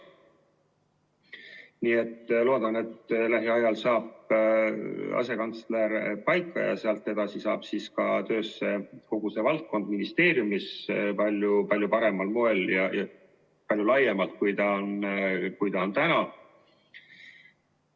Ma loodan, et lähiajal saab asekantsler paika ja seejärel hakkab kogu see valdkond ministeeriumis tööle palju paremal moel ja palju laiemalt kui täna.